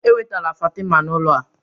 Ewetala Fatima n'ụlọ a